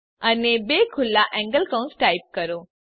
અને બે ખુલ્લા એન્ગલ કૌંસ ટાઈપ કરો